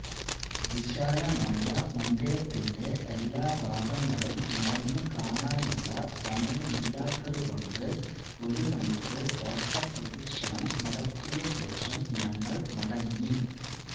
വിശാലമായ മന്ദിരത്തിന്റെ എല്ലാ ഭാഗങ്ങളും നടന്നു കാണാനുള്ള സമയമില്ലാത്തതുകൊണ്ട് ഒരു മണിക്കൂർ ഓട്ടപ്രദക്ഷിണം നടത്തിയ ശേഷം ഞങ്ങൾ മടങ്ങി